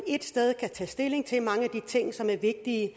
ét sted kan tage stilling til mange af de ting som er vigtige i